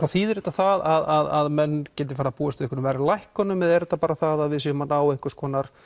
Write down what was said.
þýðir þetta það að menn geti farið að búast við verðlækkunum eða er þetta bara það að við séum að ná einhverju